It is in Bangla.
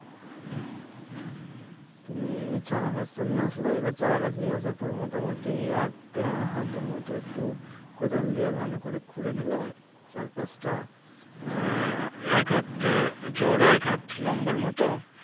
তুমি চারাগাছ তো নিয়ে আসলে। এবার চারাগাছ নিয়ে আসার পর মোটামুটি এক হাতের মতো একটু কোদাল দিয়ে ভালো করে খুঁড়ে নিলে চারপাশটা। আহ এক হাতে চওড়া এক হাত লম্বার মতো